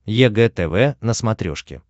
егэ тв на смотрешке